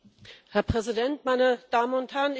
Herr Präsident, meine Damen und Herren!